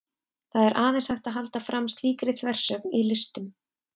það er aðeins hægt að halda fram slíkri þversögn í listum